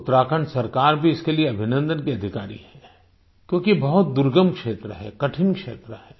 उत्तराखंड सरकार भी इसके लिए अभिनन्दन की अधिकारी है क्योंकि बहुत दुर्गम क्षेत्र है कठिन क्षेत्र है